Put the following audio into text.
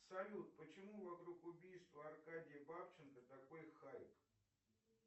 салют почему вокруг убийства аркадия бабченко такой хайп